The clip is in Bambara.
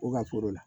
U ka foro la